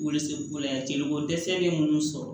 Welesebugu la yan jeliko dɛsɛ be munnu sɔrɔ